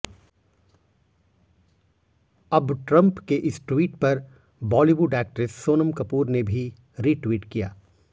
अब ट्रंप के इस ट्वीट पर बॉलीवुड एक्ट्रेस सोनम कपूर ने रीट्वीट किया